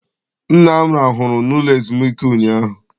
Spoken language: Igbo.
Nna m rahụrụ n'ụlọ ezumike ụnyaahụ.